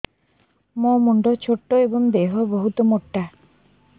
ମୋ ମୁଣ୍ଡ ଛୋଟ ଏଵଂ ଦେହ ବହୁତ ମୋଟା